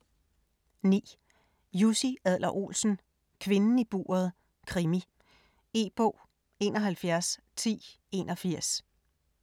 9. Adler-Olsen, Jussi: Kvinden i buret: krimi E-bog 711081